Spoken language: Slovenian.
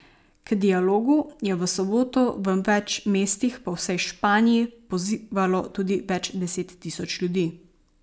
K dialogu je v soboto v več mestih po vsej Španiji pozivalo tudi več deset tisoč ljudi.